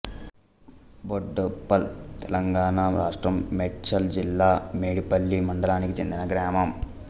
బోడుప్పల్ తెలంగాణ రాష్ట్రం మేడ్చల్ జిల్లా మేడిపల్లి మండలానికి చెందిన గ్రామం